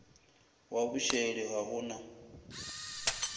wa bošaedi ga go na